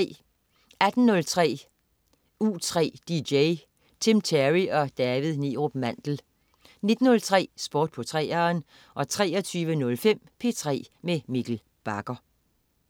18.03 U3 dj. Tim Terry og David Neerup Mandel 19.03 Sport på 3'eren 23.05 P3 med Mikkel Bagger